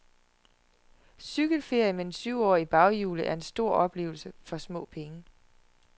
Cykelferie med en syvårig i baghjulet er en stor oplevelse for små penge.